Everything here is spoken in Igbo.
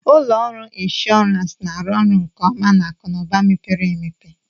Ụlọ ọrụ inshọransị na-arụ ọrụ nke ọma na akụ na ụba mepere emepe